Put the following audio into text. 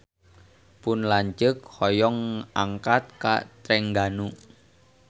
Pun lanceuk hoyong angkat ka Trengganu